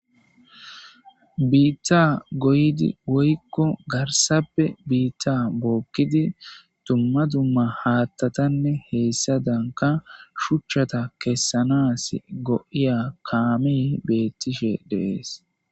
Bita goyish woyko garage bita bokidi dumma dumma hathatanne hesadankka shuchata kesanas go'iya kamey betishe de'ese